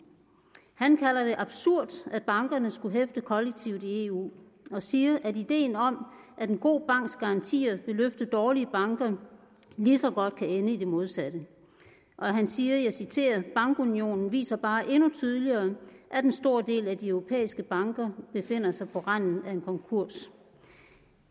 han kalder det absurd at bankerne skulle hæfte kollektivt i eu og siger at ideen om at en god banks garantier vil løfte dårlige banker lige så godt kan ende i det modsatte han siger og jeg citerer bankunionen viser bare endnu tydeligere at en stor del af de europæiske banker befinder sig på randen af en konkurs